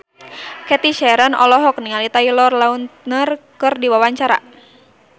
Cathy Sharon olohok ningali Taylor Lautner keur diwawancara